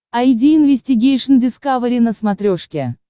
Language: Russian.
айди инвестигейшн дискавери на смотрешке